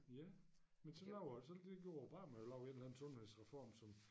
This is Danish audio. Ja men så alver det gjorde Obama lavede et eller anden sundhedsreform som